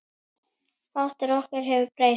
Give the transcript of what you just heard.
Fátt ef nokkuð hefur breyst.